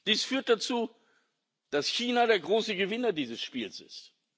Das führt dazu, dass China der große Gewinner dieses Spiels